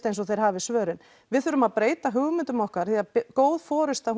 eins og þeir hafi svörin við þurfum að breyta hugmyndum okkar því að góð forysta